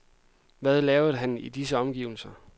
Hvad lavede han i disse omgivelser?